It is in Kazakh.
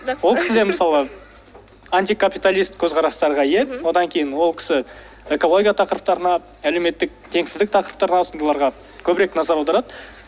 ол кісі де мысалы антикапиталист көзқарастарға ие мхм одан кейін ол кісі экология тақырыптарына әлеуметтік теңсіздік тақырыптарына сондайларға көбірек назар аударады